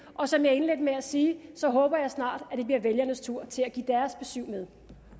og som jeg indledte med at sige så håber jeg snart at det bliver vælgernes tur til at give deres besyv med